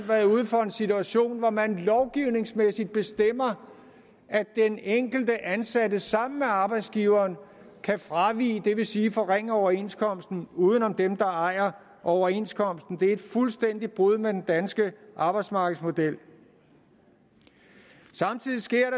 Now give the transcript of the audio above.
været ude for en situation hvor man lovgivningsmæssigt bestemmer at den enkelte ansatte sammen med arbejdsgiveren kan fravige det vil sige forringe overenskomsten uden om dem der ejer overenskomsten det er et fuldstændigt brud med den danske arbejdsmarkedsmodel samtidig sker